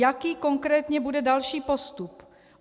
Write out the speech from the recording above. Jaký konkrétně bude další postup?